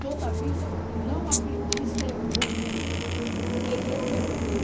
Toda a vida não aprendi a ser ruim, que eu poderia ter aprendido.